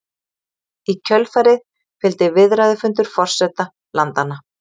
Í kjölfarið fylgdi viðræðufundur forseta landanna